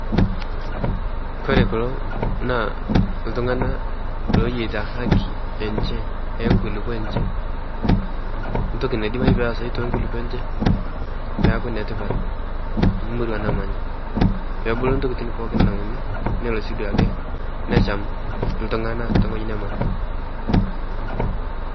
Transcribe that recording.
kore kulo naa ltungana loyeita hakii enshe enkulipoo enshe ntoki naidimai peasai tennkulipoo enshe peaku netipat murua namanya peebuluu ntokitin pooki naunii nelo sii duake nesham ltungana te nghojii namanya